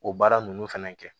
O baara ninnu fɛnɛ kɛ